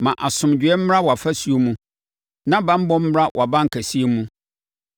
Ma asomdwoeɛ mmra wʼafasuo mu na banbɔ mmra wʼabankɛsewa mu.”